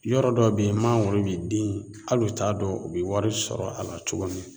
Yɔrɔ dɔw be yen mangoro bi den ali u t'a dɔn u iɛ wari sɔrɔ a la cogo min na